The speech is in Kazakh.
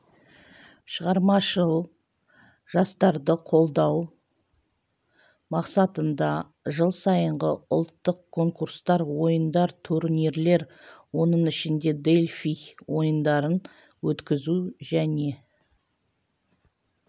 шығармашыл жастарды қолдау мақсатында жыл сайынғы ұлттық конкурстар ойындар турнирлер оның ішінде дельфий ойындарын өткізу және